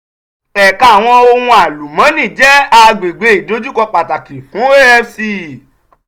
ẹka awọn ohun alumọni jẹ agbegbe idojukọ pataki fun afc.